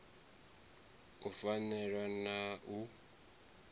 u a faela na u